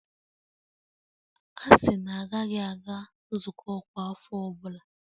A sị na a gaghị aga nzukọ ọkwa afọ ọ bụla!